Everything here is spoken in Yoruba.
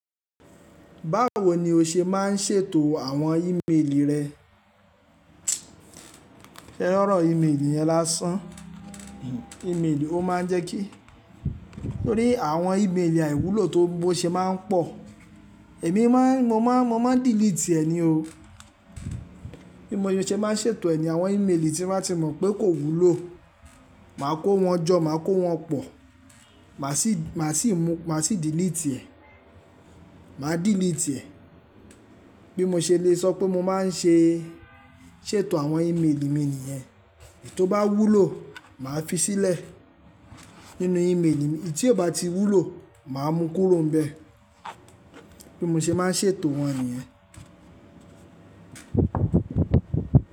Báwo ni o ṣe má ń ṣètò àwọn ímeèlì rẹ? Se ri ọ̀rọ̀ ímeèlì yẹn lásán, ímeèlì ó má ń jẹ́ kí nítorí àwọn ímeèlì àìwúlò tó bó ṣe má ń pọ̀, èmi má ń, mo má ń, mo má ń delete ẹ ni o. Bí mo ṣe má ń ṣètò ẹ̀ ni àwọn ímeèlì tí n bá ti mọ̀ pé kò wúlò, màá kó wọn jọ, màá kó wọn pọ̀, màá sì, màá sì mú, màá sì delete ẹ̀, màá delete ẹ̀. Bí mo ṣe lè sọ pé mo má ń ṣe ṣètò àwọn ímeèlì mi nìyẹn, èyí tó bá wúlò màá fi sílẹ̀ nínú ímeèlì mi, èyí tí ò bá ti wúlò màá mú kúrò níbẹ̀. Bí mo ṣe má ń ṣètò wọn nìyẹn.